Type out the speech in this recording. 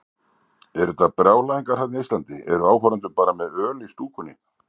Eru þetta brjálæðingar þarna í Eistlandi, eru áhorfendur bara með öl í stúkunni?